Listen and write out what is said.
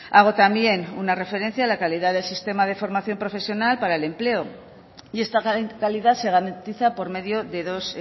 hago también una referencia a la calidad del sistema de formación profesional para el empleo y esta calidad se garantiza por medio de dos